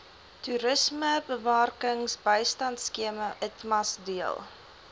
toerismebemarkingbystandskema itmas deel